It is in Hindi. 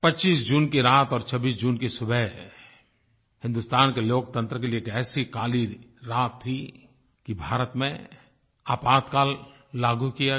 25 जून की रात और 26 जून की सुबह हिंदुस्तान के लोकतंत्र के लिए एक ऐसी काली रात थी कि भारत में आपातकाल लागू किया गया